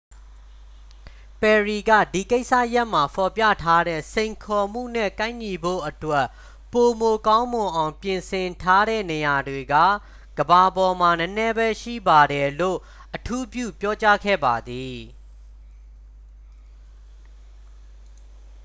"ပယ်ရီက "ဒီကိစ္စရပ်မှာ ဖော်ပြထားတဲ့ စိန်ခေါ်မှုနဲ့ ကိုက်ညီဖို့အတွက် ပိုမိုကောင်းမွန်အောင် ပြင်ဆင်ထားတဲ့ နေရာတွေက ကမ္ဘာပေါ်မှာ နည်းနည်းပဲရှိပါတယ်" လို့ အထူးပြုပြောကြားခဲ့ပါတယ်။